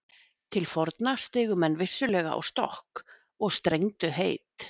Til forna stigu menn vissulega á stokk og strengdu heit.